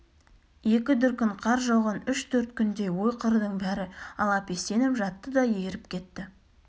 екі дүркін қар жауған үш-төрт күндей ой-қырдың бәрі алапестеніп жатты да еріп кетті